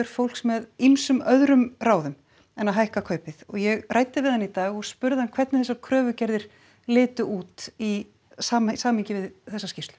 fólks með ýmsum öðrum ráðum en að hækka kaupið ég ræddi við hann í dag og spurði hann hvernig þessar kröfugerðir litu út í samhengi við þessa skýrslu